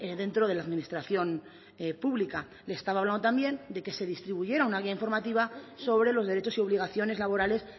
dentro de la administración pública le estaba hablado también de que se distribuyera una guía informativa sobre los derechos y obligaciones laborales